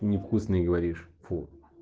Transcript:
не вкусный говоришь фу